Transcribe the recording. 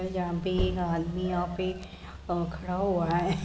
यहाँ पे एक आदमी यहाँ पे अ खड़ा हुआ है।